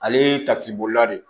Ale ye tasuma de ye